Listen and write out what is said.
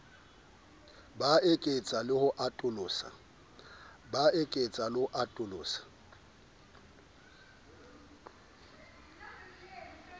ba eketsa le ho atolosa